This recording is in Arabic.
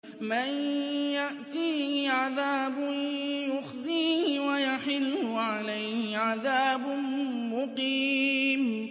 مَن يَأْتِيهِ عَذَابٌ يُخْزِيهِ وَيَحِلُّ عَلَيْهِ عَذَابٌ مُّقِيمٌ